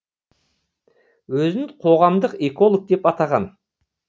өзін қоғамдық эколог деп атаған